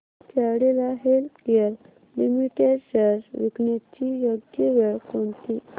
Cadila healthcare limited shares विकण्याची योग्य वेळ कोणती